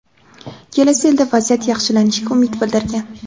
kelasi yilda vaziyat yaxshilanishiga umid bildirgan.